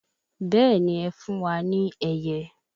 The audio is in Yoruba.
Bẹẹni ẹ fún wa ní ẹyẹ